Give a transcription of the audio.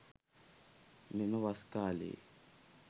මෙම වස් කාලයේ